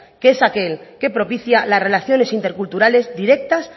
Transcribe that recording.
que es aquel que propicia las relaciones interculturales directas